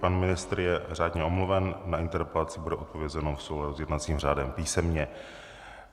Pan ministr je řádně omluven, na interpelaci bude odpovězeno v souladu s jednacím řádem písemně.